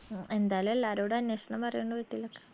എന്തായാലും എല്ലാരോടും അന്വേഷണം പറയണ്ട് വീട്ടില്